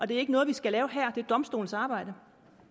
det er ikke noget vi skal lave her det er domstolenes arbejde